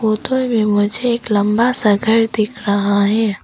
उधर मे मुझे एक लंबा सा घर दिख रहा है।